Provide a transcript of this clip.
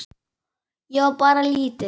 Ég á bara lítið.